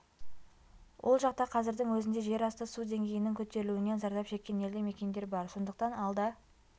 ол жақта қазірдің өзінде жер асты су деңгейінің көтерілуінен зардап шеккен елді мекендер бар сондықтан алда